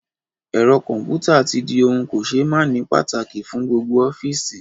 Ẹ̀rọ kọ̀ḿpútà tí di ohun kò ṣé máàní pàtàkì fún gbogbo ọ́fíìsì